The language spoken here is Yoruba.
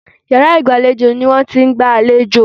Yàrá ìgbàlejò ni wọ́n ti ń gba àlejò.